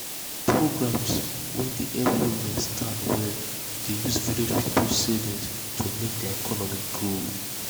programs wey dey help women stand well dey use village people savings to make their economy growth